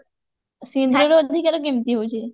ସିନ୍ଦୁରର ଅଧିକାର କେମତି ହଉଛି?